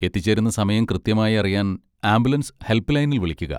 എത്തിച്ചേരുന്ന സമയം കൃത്യമായി അറിയാൻ ആംബുലൻസ് ഹെൽപ്പ് ലൈനിൽ വിളിക്കുക.